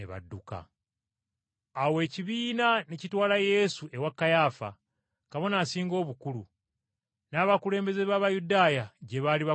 Awo ekibiina ne kitwala Yesu ewa Kayaafa, Kabona Asinga Obukulu, n’abakulembeze b’Abayudaaya gye baali bakuŋŋaanidde.